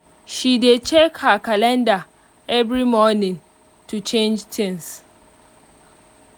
she dey check her calendar every morning to change things